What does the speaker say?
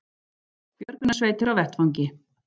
Björgunarsveitir á vettvangi